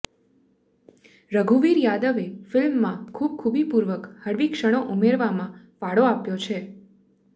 રઘુવીર યાદવે ફિલ્મમાં ખૂબ ખૂબીપૂર્વક હળવી ક્ષણો ઉમેરવામાં ફાળો આપ્યો છે